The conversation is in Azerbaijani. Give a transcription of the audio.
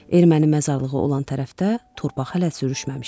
Erməni məzarlığı olan tərəfdə torpaq hələ sürüşməmişdi.